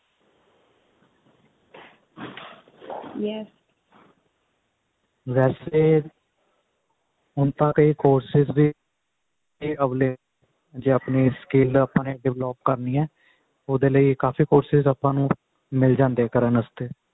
ਵੈਸੇ ਹੁਣ ਤਾਂ ਕਈ courses ਵੀ available ਜੇ ਆਪਣੀ skill develop ਕਰਨੀ ਹੈ ਉਹਦੇ ਲਈ ਕਾਫੀ courses ਮਿਲ ਜਾਂਦੇ ਨੇ ਆਪਾਂ ਨੂੰ ਕਰਨ ਲਈ